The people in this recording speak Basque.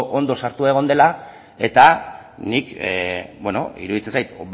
ondo sartua egon dela eta niri iruditzen zait